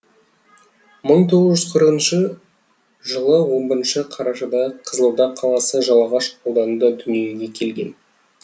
мың тоғыз жүз қырқыншы жылы он бірінші қарашада қызылорда қаласы жалағаш ауданында дүниеге келген